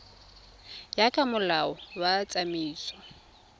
ya ka molao wa tsamaiso